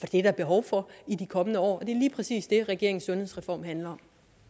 det er der behov for i de kommende år det lige præcis det regeringens sundhedsreform handler